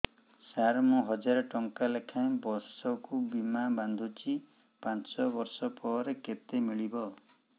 ସାର ମୁଁ ହଜାରେ ଟଂକା ଲେଖାଏଁ ବର୍ଷକୁ ବୀମା ବାଂଧୁଛି ପାଞ୍ଚ ବର୍ଷ ପରେ କେତେ ମିଳିବ